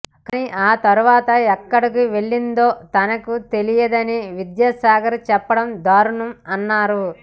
కానీ ఆ తర్వాత ఎక్కడకు వెళ్లిందో తనకు తెలియదని విద్యాసాగర్ చెప్పడం దారుణం అన్నారు